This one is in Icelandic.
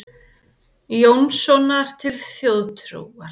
Jónssonar til þjóðtrúar.